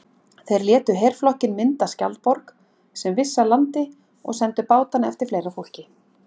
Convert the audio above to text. Þeir létu herflokkinn mynda skjaldborg sem vissi að landi og sendu bátana eftir fleira fólki.